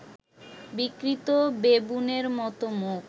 বিকৃত বেবুনের মত মুখ